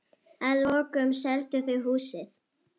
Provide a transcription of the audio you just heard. Að lokum seldu þau húsið.